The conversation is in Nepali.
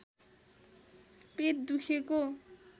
पेट दुखेको